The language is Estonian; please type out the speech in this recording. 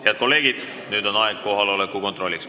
Head kolleegid, nüüd on aeg kohaloleku kontrolliks.